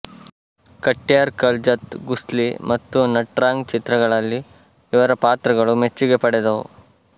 ಕಟ್ಯಾರ್ ಕಲ್ಜತ್ ಘುಸ್ಲಿ ಮತ್ತು ನಟ್ರಾಂಗ್ ಚಿತ್ರಗಳಲ್ಲಿ ಇವರ ಪಾತ್ರಗಳು ಮೆಚ್ಚುಗೆ ಪಡೆದವು